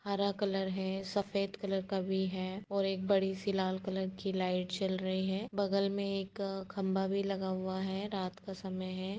हरा कलर है सफेद कलर का भी है और एक बड़ी-सी लाल कलर की लाइट जल रही है। बगल में एक खंबा भी लगा हुआ है। रात का समय है।